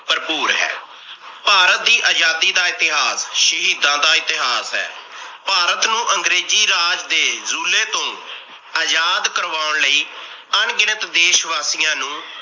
ਭਰਭੂਰ ਹੈ। ਭਾਰਤ ਦੀ ਅਜਾਦੀ ਦਾ ਇਤਿਹਾਸ ਸ਼ਹੀਦਾਂ ਦਾ ਇਤਿਹਾਸ ਹੈ। ਭਾਰਤ ਨੂੰ ਅੰਗਰੇਜ਼ੀ ਰਾਜ ਦੇ ਜੂਲੇ ਤੋਂ ਅਜਾਦ ਕਰਵਾਉਣ ਲਾਇ। ਅਣਗਿਣਤ ਦੇਸ ਵਾਸੀਆਂ ਨੂੰ